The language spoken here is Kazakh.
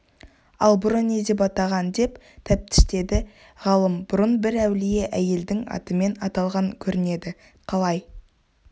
ал бұрын не деп атаған деп тәптіштеді ғалым бұрын бір әулие әйелдің атымен аталған көрінеді қалай